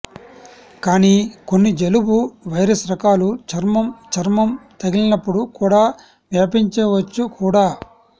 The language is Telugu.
కానీ కొన్ని జలుబు వైరస్ రకాలు చర్మం చర్మం తగిలినప్పుడు కూడా వ్యాపించవచ్చు కూడా